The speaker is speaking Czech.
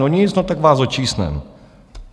No nic, no, tak vás očísneme.